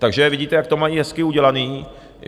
Takže vidíte, jak to mají hezky udělané.